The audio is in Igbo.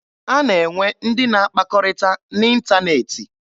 A na-enwe ndị na akpakọrịta n'ịntaneetị.